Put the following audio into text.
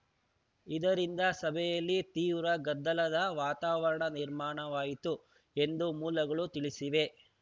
ಇದರಿಂದ ಸಭೆಯಲ್ಲಿ ತೀವ್ರ ಗದ್ದಲದ ವಾತಾವರಣ ನಿರ್ಮಾಣವಾಯಿತು ಎಂದು ಮೂಲಗಳು ತಿಳಿಸಿವೆ